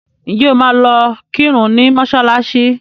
Ṣé o máa lọ kírun ní mọ́ṣálạ́ṣí?